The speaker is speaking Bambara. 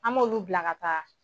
An m'olu bila ka taa.